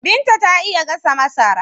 Binta ta iya gasa masara.